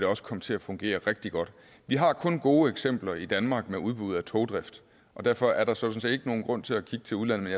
også komme til at fungere rigtig godt vi har kun gode eksempler i danmark med udbud af togdrift og derfor er der sådan set ikke nogen grund til at kigge til udlandet